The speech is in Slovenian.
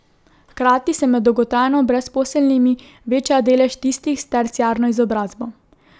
Hkrati se med dolgotrajno brezposelnimi veča delež tistih s terciarno izobrazbo.